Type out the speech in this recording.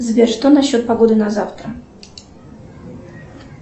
сбер что насчет погоды на завтра